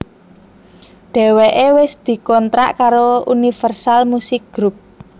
Dheweké wis dikontrak karo Universal Musik Group